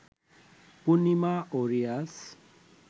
পূর্ণিমা ও রিয়াজ